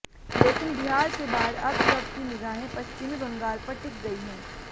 लेकिन बिहार के बाद अब सब की निगाहें पश्चिमी बंगाल पर टिक गई हैं